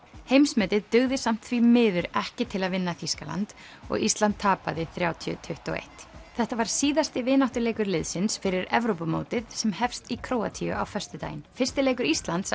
heimsmetið dugði samt því miður ekki til að vinna Þýskaland og Ísland tapaði þrjátíu til tuttugu og eitt þetta var síðasti vináttuleikur liðsins fyrir Evrópumótið sem hefst í Króatíu á föstudaginn fyrsti leikur Íslands